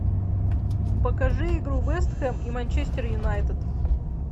покажи игру вест хэм и манчестер юнайтед